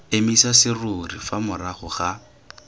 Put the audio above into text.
emisa serori fa morago ga